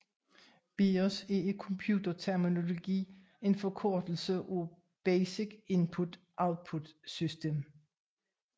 BIOS er i computerterminologi en forkortelse for Basic Input Output System